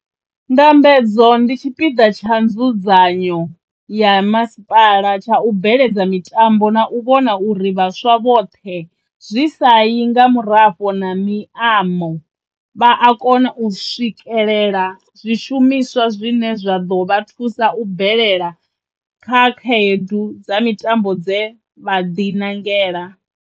Ndambedzo ndi tshipiḓa tsha nzudzanyo ya masipala tsha u bveledza mitambo na u vhona uri vhaswa vhoṱhe, zwi sa yi nga murafho na miamo, vha a kona u swikelela zwishumiswa zwine zwa ḓo vha thusa u bvelela kha khaedu dza mitambo dze vha ḓinangela.